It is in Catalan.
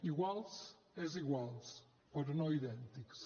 iguals és iguals però no idèntics